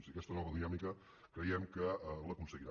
i aquesta nova dinàmica creiem que l’aconseguirà